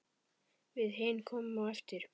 Við hin komum á eftir.